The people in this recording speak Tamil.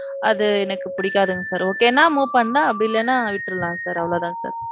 அது எனக்கு புடிக்காதுங்க sir. okay னா move பண்ணலாம் அப்படி இல்லன்னா விட்டர்லாம் sir. அவ்வளவுதான் sir.